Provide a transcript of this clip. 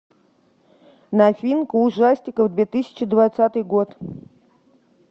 новинка ужастиков две тысячи двадцатый год